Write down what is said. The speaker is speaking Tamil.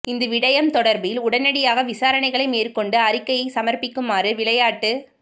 இந்த விடயம் தொடர்பில் உடனடியாக விசாரணைகளை மேற்கொண்டு அறிக்கையை சமர்பிக்குமாறு விளையாட்டு